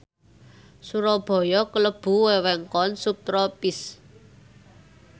Surabaya klebu wewengkon subtropis